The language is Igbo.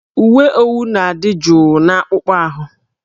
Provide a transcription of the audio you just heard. Uwe owu na-adị jụụ n'akpụkpọ ahụ